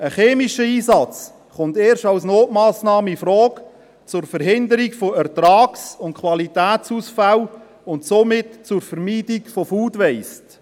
Ein chemischer Einsatz kommt erst als Notmassnahme zur Verhinderung von Ertragsausfällen, und somit zur Vermeidung von Food Waste, infrage.